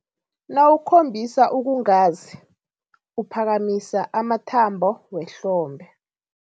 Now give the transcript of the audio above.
Nawukhombisa ukungazi, uphakamisa amathambo wehlombe.